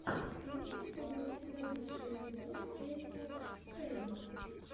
имеется ли у тебя лучший эпизод эрика фейма